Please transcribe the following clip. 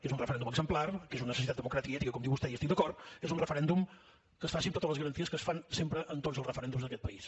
és un referèndum exemplar que és una necessitat democràtica i ètica com diu vostè i hi estic d’acord és un referèndum que es faci amb totes les garanties que es fan sempre tots els referèndums d’aquest país